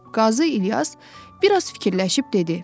Qazi İlyas biraz fikirləşib dedi.